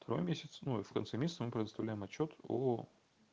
второй месяц ну и в конце месяца мы предоставляем отчёт о